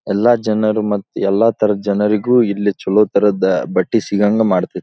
ಎಲ್ಲ ಜನರು ಮತ್ತು ಎಲ್ಲತರದ ಜನರಿಗು ಇಲ್ಲಿ ಚೆಲೋತರಹದ ಬಟ್ಟೆ ಸಿಗುವಹಾಗೆ ಮಾಡ್ತದ್ದೆ.